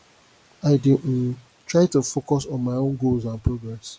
i dey um try to focus on my own goals and progress